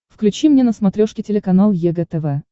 включи мне на смотрешке телеканал егэ тв